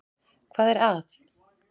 Hvað er að?